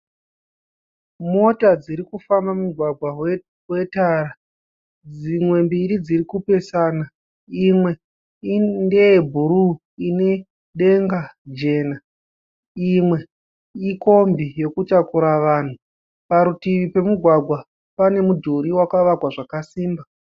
Mota dziri kufamba mumugwagwa wetara. Dzimwe mbiri dziri kupesana. Imwe ndeye bhuru ine denga jena. Imwe ikombi yekutakura vanhu. Parutivi pemugwagwa pane mudhuri wakavakwa zvakasimba.